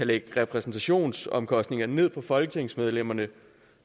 lægge repræsentationsomkostninger ned på folketingsmedlemmerne